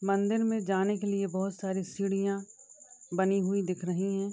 मंदिर में जाने के लिए बहोत सारी सीढ़ियाँ बनी हुई दिख रही हैं।